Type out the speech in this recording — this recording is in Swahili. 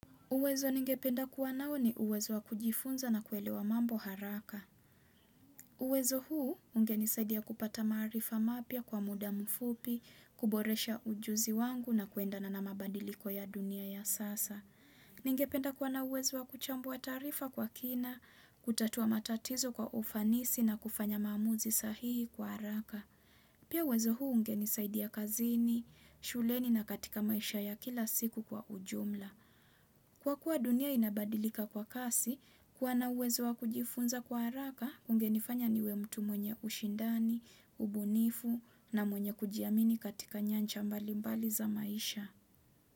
Uwezo ningependa kuwa nao ni uwezo wa kujifunza na kuelewa mambo haraka. Uwezo huu ungenisaidia kupata maarifa mapya kwa muda mfupi, kuboresha ujuzi wangu na kuendana na mabadiliko ya dunia ya sasa. Ningependa kuwa na uwezo wa kuchambua taarifa kwa kina, kutatua matatizo kwa ufanisi na kufanya maamuzi sahihi kwa haraka. Pia uwezo huu unge nisaidia kazini, shuleni na katika maisha ya kila siku kwa ujumla. Kwa kuwa dunia inabadilika kwa kasi, kuwa na uwezo wa kujifunza kwa haraka kungenifanya niwe mtu mwenye ushindani, ubunifu na mwenye kujiamini katika nyancha mbalimbali za maisha.